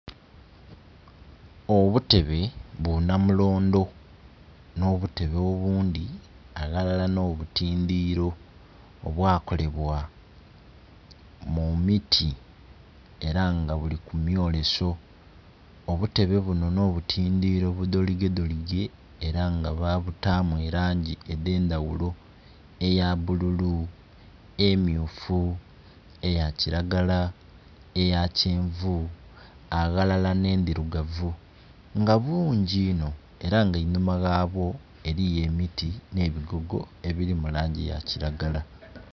Obutebe bu namulondho nho obutebe obundhi aghalala nho butindhiro obwakolebwa mu miti era nga bili ku mwoleso obutebe buno nho butindhiro budholige dholige era nga balutamu elangi edhendhaghulo ndhaghulo eya bululu, emyufu, eya kilagala, eya kyenvu aghalala nhe ndhirugavu nga bungi enho era nga einhuma gha bwo eriyo emiti nhe bigogo ebiri mu langi eya kilagala.